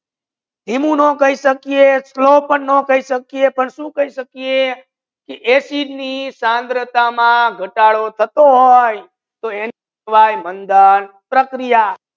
ધીમુ પણ નઈ કહી સકે ધીમા પાન ના કહી સકે એસિડ ની થરંગાથા મા ગાતાડો થતો હોત તો એને કેહવાયે મંધન પ્રકિયા